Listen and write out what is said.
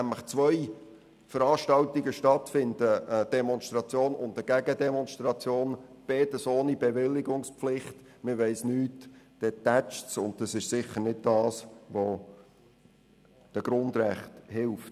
Wenn beispielsweise zwei Veranstaltungen ohne Bewilligungspflicht stattfinden, ist das Potenzial für Konflikte hoch.